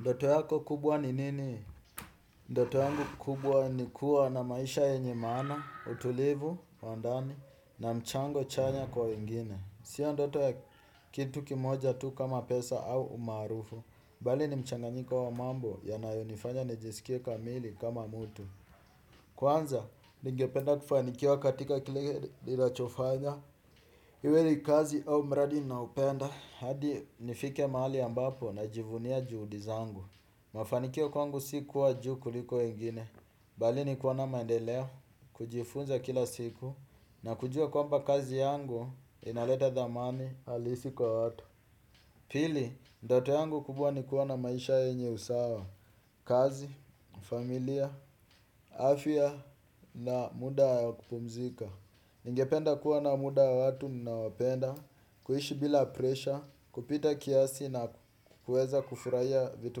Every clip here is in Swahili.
Ndoto yako kubwa ni nini? Ndoto yangu kubwa ni kuwa na maisha yenye maana, utulivu wa ndani, na mchango chanya kwa wengine. Sia ndoto ya kitu kimoja tu kama pesa au umaarufu. Bali ni mchanganyiko wa mambo yanayo nifanya nijiskie kamili kama mutu. Kwanza, ningependa kufanikiwa katika kile ninachofanya iwe ni kazi au mradi ninaoupenda hadi nifike mahali ambapo najivunia juhudi zangu. Mafanikio kwangu si kuwa juu kuliko wengine bali ni kuona maendeleo kujifunza kila siku na kujua kwamba kazi yangu inaleta thamani alisi kwa watu. Pili, ndoto yangu kubwa ni kuwa na maisha yenye usawa kazi, familia, afia na muda wa kupumzika. Ningependa kuwa na muda wa watu ninao wapenda kuishi bila presha, kupita kiasi na kuweza kufuraia vitu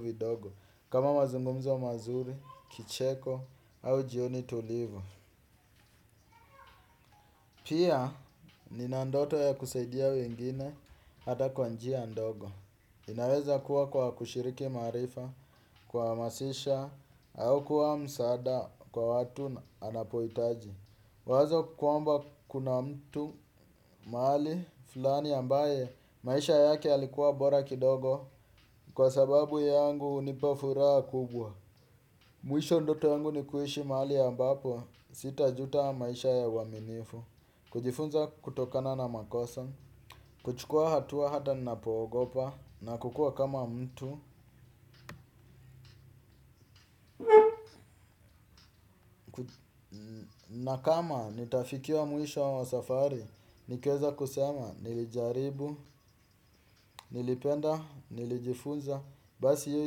vidogo kama mazungumzo mazuri, kicheko au jioni tulivu pia nina ndoto ya kusaidia wengine ata kwa njia ndogo inaweza kuwa kwa kushiriki maarifa kuamasisha au kuwa msaada kwa watu anapoitaji. Wazo kwamba kuna mtu mahali fulani ambaye maisha yake yalikuwa bora kidogo kwa sababu yangu unipa furaa kubwa. Mwisho ndoto yangu ni kuishi maali ambapo, sitajuta maisha ya uaminifu, kujifunza kutokana na makosa, kuchukua hatua hata ninapo ogopa, na kukua kama mtu na kama nitafikia mwisho wa safari, nikieza kusema nilijaribu, nilipenda, nilijifunza, basi hio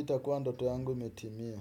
itakuwa ndoto yangu imetimia.